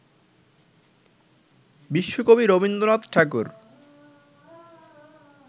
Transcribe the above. বিশ্বকবি রবীন্দ্রনাথ ঠাকুর